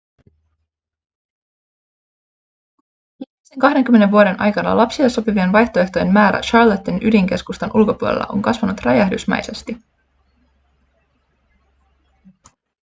viimeisen 20 vuoden aikana lapsille sopivien vaihtoehtojen määrä charlotten ydinkeskustan ulkopuolella on kasvanut räjähdysmäisesti